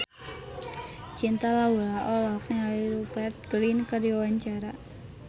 Cinta Laura olohok ningali Rupert Grin keur diwawancara